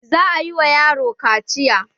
Za a yi ma yaron kaciya